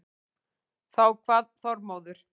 Þá kvað Þormóður